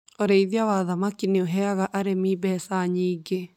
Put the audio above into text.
Ũrĩithia wa thamaki nĩ ũheaga arĩmi mbeca nyingĩ.